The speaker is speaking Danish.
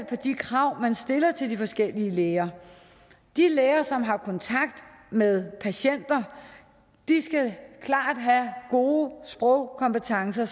på de krav man stiller til de forskellige læger de læger som har kontakt med patienter skal klart have gode sprogkompetencer